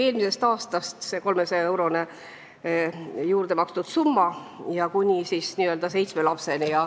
Eelmisest aastast kehtib 300-eurone juurdemakstav summa kuni seitsme lapseni.